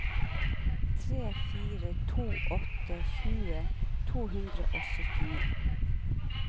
tre fire to åtte tjue to hundre og syttini